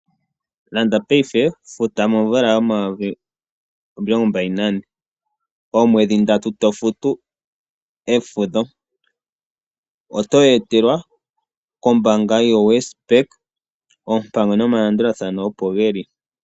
Landa paife futa momvula yomayovi omilongombali nane oomwedhindatu to futu efudho oto yeetelwa kombaanga yoWesBank oompango nomalandulathano opo geli.